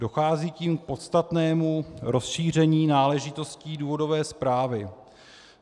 Dochází tím k podstatnému rozšíření náležitostí důvodové zprávy.